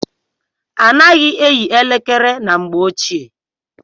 A naghị eyi elekere na mgbe ọchịe.